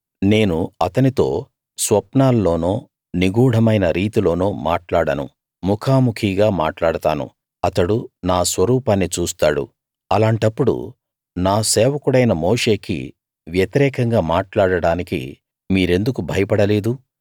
నేను అతనితో స్వప్నాల్లోనో నిగూఢమైన రీతిలోనో మాట్లాడను ముఖాముఖీగా మాట్లాడతాను అతడు నా స్వరూపాన్ని చూస్తాడు అలాంటప్పుడు నా సేవకుడైన మోషేకి వ్యతిరేకంగా మాట్లాడడానికి మీరెందుకు భయపడలేదు